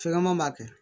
Fɛgɛma ma kɛ